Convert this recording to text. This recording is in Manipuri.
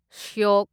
ꯁ꯭ꯌꯣꯛ